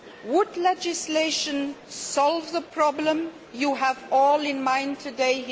Would legislation solve the problems you all have in mind today?